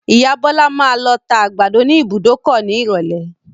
Ìya Bọ́lá máa lọ tá àgbàdo ní ìbùdókọ̀ ní ìrọ̀lé.